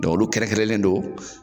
olu kɛrɛkɛrɛnlen don